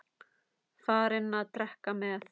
Farinn að drekka með